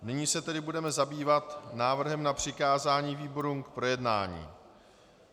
Nyní se tedy budeme zabývat návrhem na přikázání výborům k projednání.